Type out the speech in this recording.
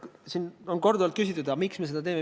Siin on korduvalt küsitud, miks me seda teeme.